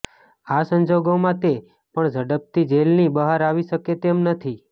આ સંજોગોમાં તે પણ ઝડપથી જેલની બહાર આવી શકે તેમ નથી